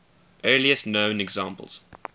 earliest known examples